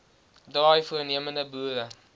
draai voornemende boere